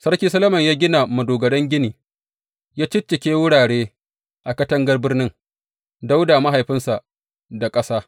Sarki Solomon ya gina madogaran gini, ya ciccika wurare a katangar birnin Dawuda mahaifinsa da ƙasa.